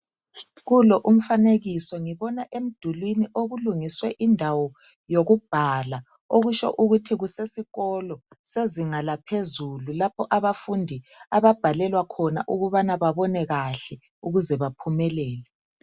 Kulo umfanekiso ngibona emdulini okulungiswe indawo yokubhala, okutsho ukuthi kusesikolo sezinga laphezulu lapho abafundi ababhalelwa khona ukubana babone kahle ukuze baphumelele.